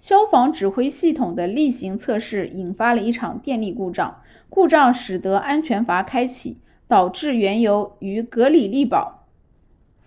消防指挥系统的例行测试引发了一场电力故障故障使得安全阀开启导致原油于格里利堡